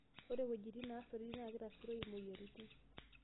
Ore weitein naasotoi naakitasuroi moyiaritin